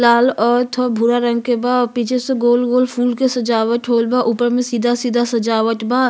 लाल औ थोआ भूरा रंग के बा। पीछे से गोल गोल फूल के सजावट होइल बा। ऊपर में सीधा सीधा सजावट बा।